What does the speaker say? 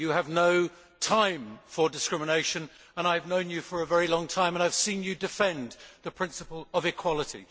Commissioner, you have no time for discrimination. I have known you for a very long time and I have seen you defend the principle of equality.